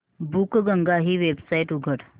बुकगंगा ही वेबसाइट उघड